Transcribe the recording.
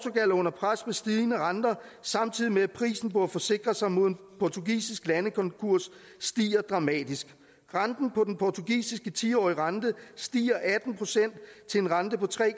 er under pres med stigende renter samtidig med at prisen på at forsikre sig mod en portugisisk landekonkurs stiger dramatisk den portugisiske tiårige rente stiger atten procent til en rente på tre